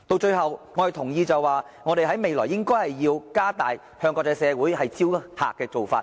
最後，我同意未來我們應該加大向國際社會招徠旅客的做法。